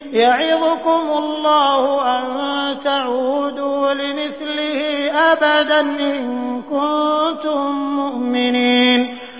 يَعِظُكُمُ اللَّهُ أَن تَعُودُوا لِمِثْلِهِ أَبَدًا إِن كُنتُم مُّؤْمِنِينَ